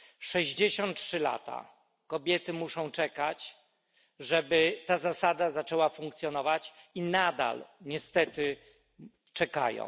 63 lata kobiety muszą czekać, żeby ta zasada zaczęła funkcjonować, i nadal niestety czekają.